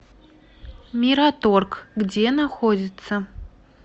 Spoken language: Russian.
мираторг где находится